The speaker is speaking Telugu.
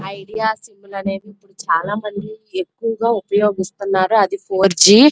ఐడియా సిం లు అనేది ఇపుడు చాలా మంది ఎక్కువగా ఉపోయూగిసున్నరు అది ఫోర్ జి --